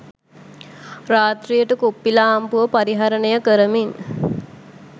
රාත්‍රියට කුප්පිලාම්පුව පරිහරණය කරමින්